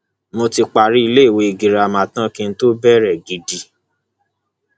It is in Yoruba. mo ti parí iléèwé girama tán kí n tóó bẹrẹ gidi